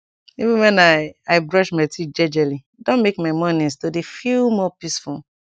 even wen i i brush my teeth jejeli don make my mornins to dey feel more peaceful